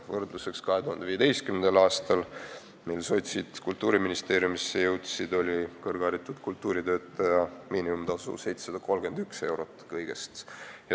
Võrdluseks: 2015. aastal, mil sotsid Kultuuriministeeriumisse jõudsid, oli kõrgharitud kultuuritöötaja miinimumtasu kõigest 731 eurot.